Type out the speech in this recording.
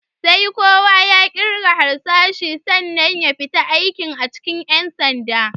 Sai kowa ya ƙirga harsashi sannan ya fita aiki a cikin ƴan sanda.